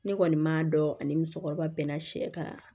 Ne kɔni m'a dɔn ani musokɔrɔba bɛnna sɛ kan